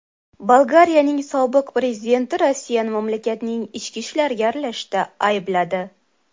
Bolgariyaning sobiq prezidenti Rossiyani mamlakatning ichki ishlariga aralashishda aybladi.